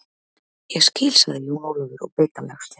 Ég skil, sagði Jón Ólafur og beit á jaxlinn.